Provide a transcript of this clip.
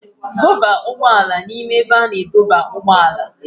Dọba ụgbọ ala n'ime ebe a na-adọba ụgbọala.